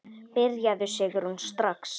Byrjaðu Sigrún, strax.